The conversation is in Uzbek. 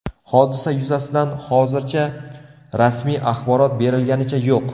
Hodisa yuzasidan hozircha rasmiy axborot berilganicha yo‘q.